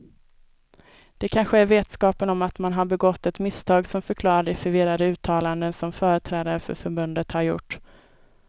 Det kanske är vetskapen om att man har begått ett misstag som förklarar de förvirrade uttalanden som företrädare för förbundet har gjort.